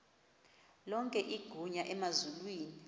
lonke igunya emazulwini